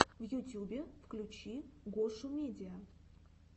в ютьюбе включи гошумедиа